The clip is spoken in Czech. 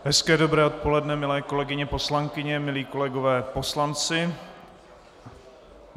Hezké dobré odpoledne, milé kolegyně poslankyně, milí kolegové poslanci.